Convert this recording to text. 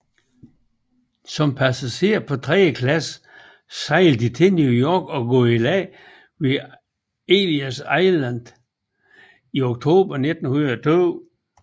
Som passagerer på tredje klasse sejler de til New York og går i land ved Ellis Island i oktober 1902